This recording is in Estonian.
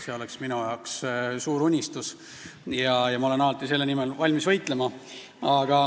See on minu suur unistus ja ma olen alati selle nimel valmis võitlema.